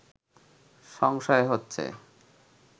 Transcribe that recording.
সংশয় হচ্ছে